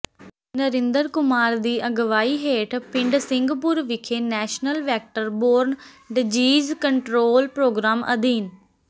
ਨਰਿੰਦਰ ਕੁਮਾਰ ਦੀ ਅਗਵਾਈ ਹੇਠ ਪਿੰਡ ਸਿੰਘਪੁਰ ਵਿਖੇ national vector borne diseases control programme ਅਧੀਨ